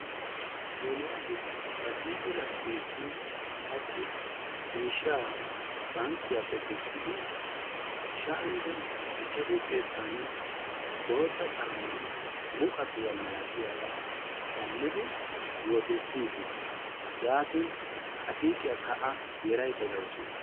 Eeliyasi ba siiqo laggeessi hachchi miishshaa bankkiyappe kessidi sha"anne ichchashu xeetaani bootta caammaa muqaqiya malatiyaga shammidi wotissis. Yaatin A siiqiyakka A yeraydda de"awusu.